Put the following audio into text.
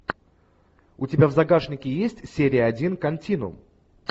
у тебя в загашнике есть серия один континуум